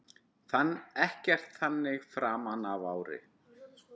Ekkert þannig framan af ári.